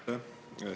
Aitäh!